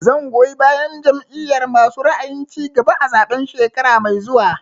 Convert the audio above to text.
Zan goyi bayan Jam'iyar masu ra'ayin cigaba a zaɓen shekara mai zuwa